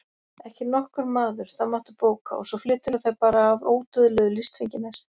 Ekki nokkur maður, það máttu bóka og svo flyturðu þær bara af ódauðlegu listfengi næst.